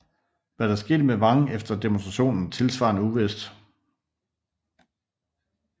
Hvad der skete med Wang efter demonstrationen er tilsvarende uvist